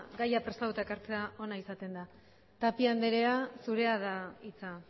gaia prestatuta ekartzea ona izaten da tapia andrea zurea da hitza